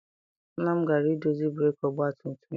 Nna m gara I dozi breeki ọgbatumtum ya.